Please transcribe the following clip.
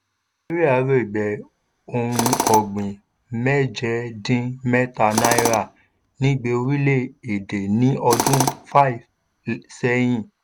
nàìjíríà rígbẹ́ ohun ọ̀gbìn mẹ́jẹ dín mẹ́ta náírà nígbé orílẹ̀ èdè ní ọdún five sẹ́yìn